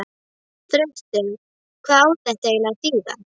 Þröstur, hvað á þetta eiginlega að þýða?!